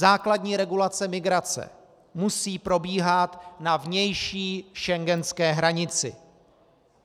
Základní regulace migrace musí probíhat na vnější schengenské hranici.